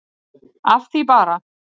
Af því bara.